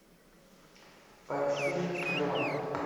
поищи стрела